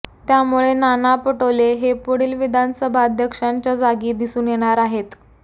त्यामुळे नाना पटोले हे पुढील विधानसभाध्यक्षांच्या जागी दिसून येणार आहेत